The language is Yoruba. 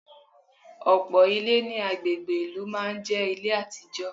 Ọ̀pọ̀ Ilé ní agbègbè ìlú máa n jé Ilé àtijọ́